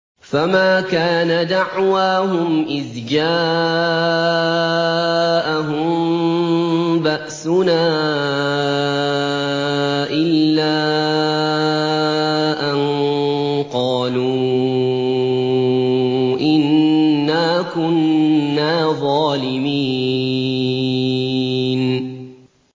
فَمَا كَانَ دَعْوَاهُمْ إِذْ جَاءَهُم بَأْسُنَا إِلَّا أَن قَالُوا إِنَّا كُنَّا ظَالِمِينَ